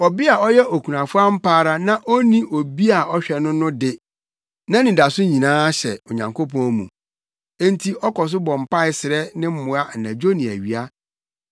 Ɔbea a ɔyɛ okunafo ampa ara no a onni obi a ɔhwɛ no no de nʼanidaso nyinaa ahyɛ Onyankopɔn mu, enti ɔkɔ so bɔ mpae srɛ ne mmoa anadwo ne awia.